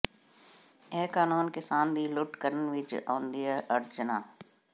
ਇਹ ਕਾਨੂੰਨ ਕਿਸਾਨ ਦੀ ਲੁੱਟ ਕਰਨ ਵਿਚ ਆਉਂਦੀਆਂ ਅੜਚਨਾ